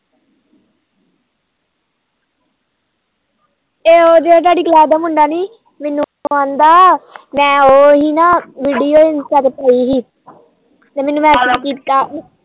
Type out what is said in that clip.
ਇਹ ਉਹ ਸਾਡੀ class ਦਾ ਮੁੰਡਾ ਨੀ ਮੈਨੂੰ ਕਹਿੰਦਾ ਮੈ ਉਹ ਹੀ ਨਾ video insta ਤੇ ਪਾਈ ਸੀ ਮੈਨੂੰ ਕਹਿੰਦਾ